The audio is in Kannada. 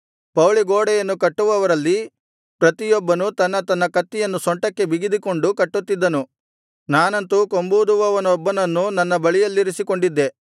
ಪೌಳಿಗೋಡೆಯನ್ನು ಕಟ್ಟುವವರಲ್ಲಿ ಪ್ರತಿಯೊಬ್ಬನು ತನ್ನ ತನ್ನ ಕತ್ತಿಯನ್ನು ಸೊಂಟಕ್ಕೆ ಬಿಗಿದುಕೊಂಡು ಕಟ್ಟುತ್ತಿದ್ದನು ನಾನಂತೂ ಕೊಂಬೂದುವವನೊಬ್ಬನನ್ನು ನನ್ನ ಬಳಿಯಲ್ಲಿರಿಸಿಕೊಂಡಿದ್ದೆ